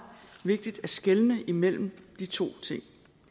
vigtigt at skelne mellem de to ting